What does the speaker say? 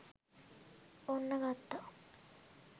ඔන්න ගත්තා